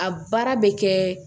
A baara bɛ kɛ